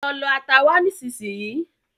Lọ lọ ata wá nisínsinyí